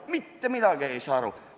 Mitte midagi ei saa aru!